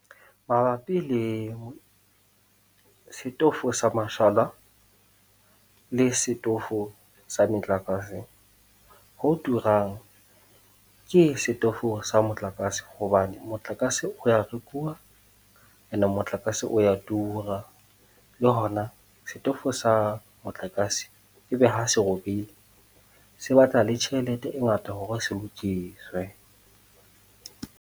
Mabapi le setofo sa mashala le setofo sa metlakase, ho turang ke setofo sa motlakase hobane motlakase o ya rekuwa, ene motlakase o ya tura. Le ho na setofo sa motlakase, e be ha se robile, se batla le tjhelete e ngata hore se lokiswe